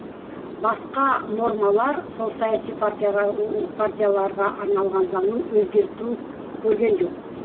басқа нормалар сол саяси партияға партияларға арналған заңның өзгерту көрген жоқ